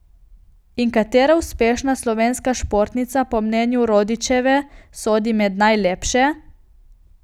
In katera uspešna slovenska športnica po mnenju Rodićeve sodi med najlepše?